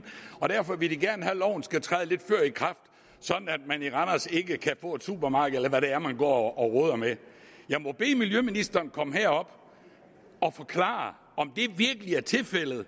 og derfor vil de gerne have at loven skal træde lidt før i kraft sådan at man ikke kan få et supermarked i hvad det er man går og roder med jeg må bede miljøministeren komme herop og forklare om det virkelig er tilfældet at